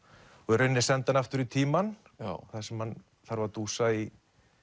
í rauninni sendi hann aftur í tímann þar sem hann þarf að dúsa í